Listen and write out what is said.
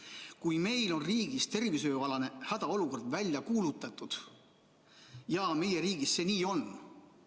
kui meil on riigis tervishoiualane hädaolukord välja kuulutatud, ja meie riigis see nii on ...